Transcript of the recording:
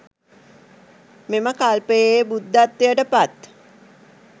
මෙම කල්පයේ බුද්ධත්වයට පත්